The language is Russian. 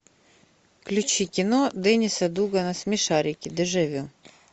включи кино денниса дугана смешарики дежавю